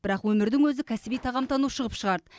бірақ өмірдің өзі кәсіби тағамтанушы ғып шығарды